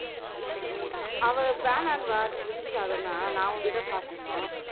அவ வேணான்னுவா birinji சாதம்ன்னா நான் ஒண்டிதான் சாப்பிடணும்